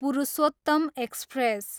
Purushottam express